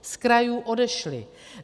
Z krajů odešly.